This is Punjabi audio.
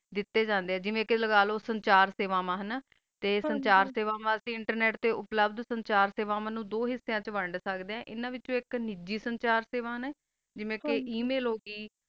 ਦਿਤਾ ਜਾਂਦਾ ਆ ਜੀ ਮਾ ਕ੍ਯਾ ਲਬਾ ਜਾਂਦਾ ਆ ਚਲੋ ਚਾਰ ਸਵਾ ਮਾ ਹ ਨਾ ਤਾ ਚਾਰ ਸਵਾ ਵਾਸਤਾ ਵੀ internet ਹੋ ਸਕਦਾ ਆ ਤਾ ਬ੍ਲੂਦ ਵੀ ਚਾਰ ਸਵਾ ਵਾਸਤਾ ਹੋ ਸਕਦਾ ਆ ਅਨਾ ਵਿਤ੍ਚੋ ਜਾਸ੍ਸਮ ਵਿਤਚ ਏਕ ਕਾਮ ਹੋ ਸਾਕਾ ਆ ਜੀਵਾ ਕਾ email ਹੋ ਗੀ